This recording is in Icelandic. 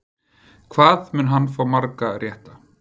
Hvað mun hann fá marga rétta?